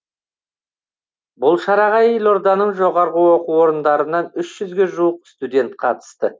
бұл шараға елорданың жоғарғы оқу орындарынан үш жүзге жуық студент қатысты